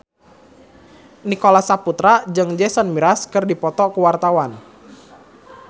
Nicholas Saputra jeung Jason Mraz keur dipoto ku wartawan